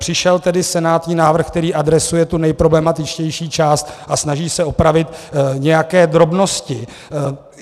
Přišel tedy senátní návrh, který adresuje tu nejproblematičtější část a snaží se opravit nějaké drobnosti.